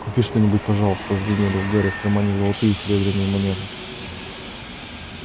купи что-нибудь пожалуйста звенели у гарри в кармане золотые и серебряные монеты